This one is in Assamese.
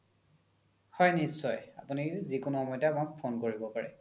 হয় নিশ্চয় আপোনি যিকোনো সময়তে আমাক phone কৰিব পাৰে